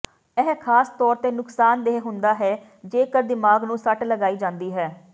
ਇਹ ਖਾਸ ਤੌਰ ਤੇ ਨੁਕਸਾਨਦੇਹ ਹੁੰਦਾ ਹੈ ਜੇਕਰ ਦਿਮਾਗ ਨੂੰ ਸੱਟ ਲਗਾਈ ਜਾਂਦੀ ਹੈ